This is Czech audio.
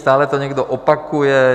Stále to někdo opakuje.